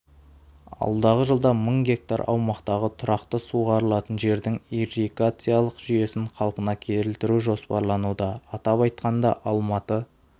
алдағы жылда мың гектар аумақтағы тұрақты суғарылатын жердің ирригациялық жүйесін қалпына келтіру жоспарлануда атап айтқанда алматы